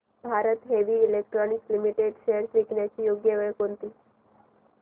Bharat heavy electricals limited shares विकण्याची योग्य वेळ कोणती